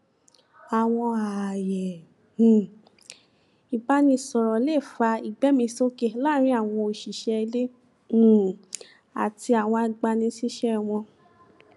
àwọn ààyè um ìbáraẹnisọrọ lè fa ìgbéẹmísókè láàrin àwọn òṣìṣẹ ilé um àti àwọn agbanisíṣẹ wọn